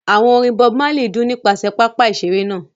Àwọn orin Bob Marley dún nípasẹ̀ pápá ìṣeré náà.